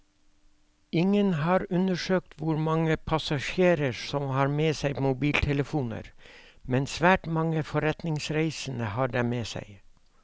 Ingen har undersøkt hvor mange passasjerene som har med seg mobiltelefoner, men svært mange forretningsreisende har dem med seg.